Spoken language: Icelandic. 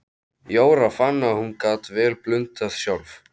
Jóra fann að hún gat vel blundað sjálf.